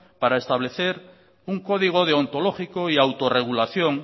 para establecer un código deontológico y autorregulación